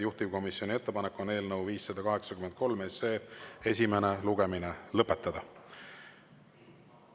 Juhtivkomisjoni ettepanek on eelnõu 583 esimene lugemine lõpetada.